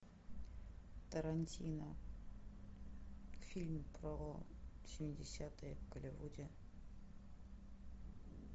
тарантино фильм про семидесятые в голливуде